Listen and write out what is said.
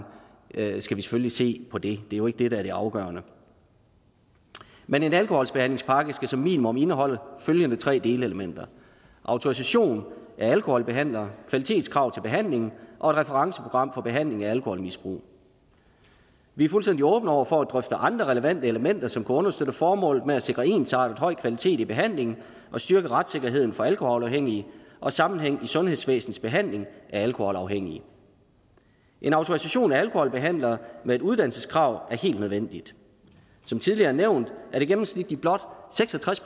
skal vi selvfølgelig se på det det er jo ikke det der er det afgørende men en alkoholbehandlingspakke skal som minimum indeholde følgende tre delelementer autorisation af alkoholbehandlere kvalitetskrav til behandlingen og et referenceprogram for behandling af alkoholmisbrug vi er fuldstændig åbne over for at drøfte andre relevante elementer som kan understøtte formålet med at sikre ensartet høj kvalitet i behandlingen og styrke retssikkerheden for alkoholafhængige og sammenhæng i sundhedsvæsenets behandling af alkoholafhængige en autorisation af alkoholbehandlere med et uddannelseskrav er helt nødvendigt som tidligere nævnt er det gennemsnitligt blot seks og tres